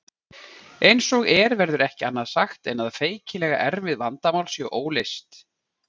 Eins og er verður ekki annað sagt en að feikilega erfið vandamál séu óleyst.